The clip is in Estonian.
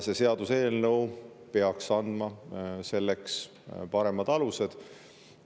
See seaduseelnõu peaks andma selleks paremad alused.